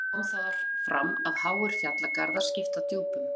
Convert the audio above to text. Jafnframt kom þar fram að háir fjallgarðar skipta djúpunum.